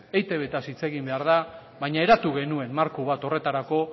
eitbtaz hitz egin behar da baina eratu genuen marko bat horretarako